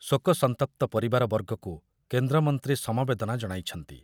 ଶୋକସନ୍ତପ୍ତ ପରିବାର ବର୍ଗଙ୍କୁ କେନ୍ଦ୍ରମନ୍ତ୍ରୀ ସମବେଦନା ଜଣାଇଛନ୍ତି।